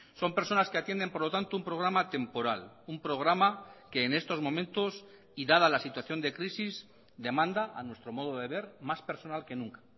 son personas que atienden por lo tanto un programa temporal un programa que en estos momentos y dada la situación de crisis demanda a nuestro modo de ver más personal que nunca